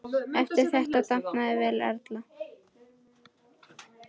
Eftir þetta dafnaði Erla vel.